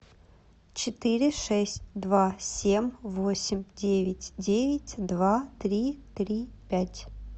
четыре шесть два семь восемь девять девять два три три пять